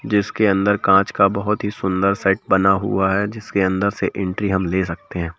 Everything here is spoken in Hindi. जिसके अंदर कांच का बहुत ही सुंदर सेट बना हुआ है जिसके अंदर से एंट्री हम ले सकते हैं।